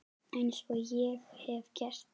Eins og ég hef gert.